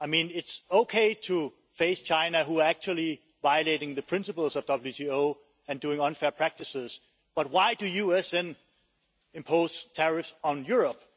It's okay to face China, who are actually violating the principles of WTO and doing unfair practices, but why is the US imposing tariffs on Europe?